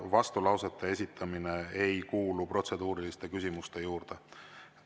Vastulausete esitamine ei kuulu protseduuriliste küsimuste alla.